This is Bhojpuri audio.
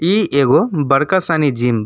इ एगो बड़का सानी जिम बा।